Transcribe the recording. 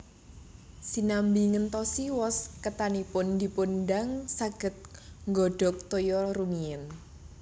Sinambi ngentosi wos ketanipun dipun dang saged nggodhog toya rumiyin